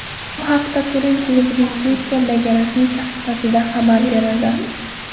Bu haqda Turin klubining Twitter’dagi rasmiy sahifasida xabar berildi .